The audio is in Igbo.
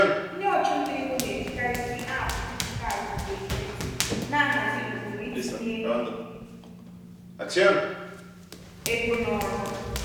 ndị ọchụnta ego na-ejikarizi app dijitalụ nke ekwentị na-ahazi ụkpụrụ itinye ego n'ọrụ.